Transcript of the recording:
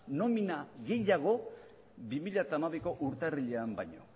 nomina gehiago bi mila hamabiko urtarrilean baino